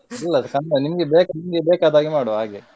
ಇಲ್ಲ ಅದು ನಿಮಗೆ ಬೇಕಾದ ನಿಮಗೆ ಬೇಕಾದ ಹಾಗೆ ಮಾಡುವ ಹಾಗೆ.